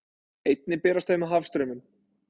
Einnig berast þau með hafstraumum.